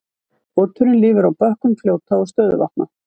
Oturinn lifir á bökkum fljóta og stöðuvatna.